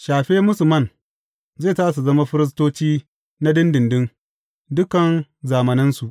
Shafe musu man, zai sa su zama firistoci na ɗinɗinɗin, dukan zamanansu.